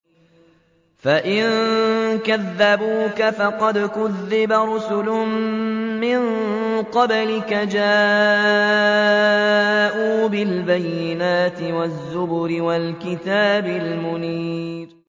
فَإِن كَذَّبُوكَ فَقَدْ كُذِّبَ رُسُلٌ مِّن قَبْلِكَ جَاءُوا بِالْبَيِّنَاتِ وَالزُّبُرِ وَالْكِتَابِ الْمُنِيرِ